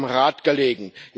es hat am Rat gelegen.